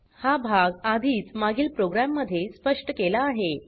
हा भाग आधीच मागील प्रोग्राममध्ये स्पष्ट केला आहे